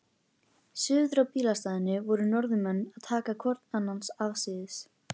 Suður á bílastæðinu voru Norðmenn að taka hvorn annan afsíðis.